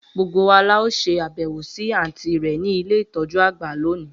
Gbogbo wa lao se abewo si anti re ni ile itoju agba loni.